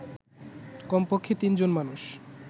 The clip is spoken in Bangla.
কমপক্ষে তিনজন মানুষ